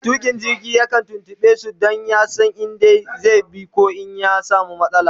Mai tuƙa jirgi yakan tuntuɓe su Dan ya San in da zai bi koh in ya samu matsala